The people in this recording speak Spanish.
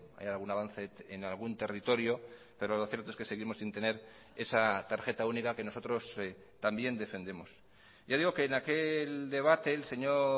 hay algún avance en algún territorio pero lo cierto es que seguimos sin tener esa tarjeta única que nosotros también defendemos ya digo que en aquel debate el señor